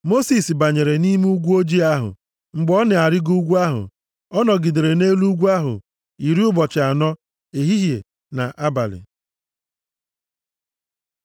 Mosis banyere nʼime igwe ojii ahụ mgbe ọ na-arịgo ugwu ahụ. Ọ nọgidere nʼelu ugwu ahụ iri ụbọchị anọ, ehihie na abalị.